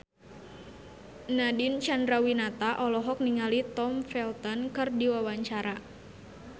Nadine Chandrawinata olohok ningali Tom Felton keur diwawancara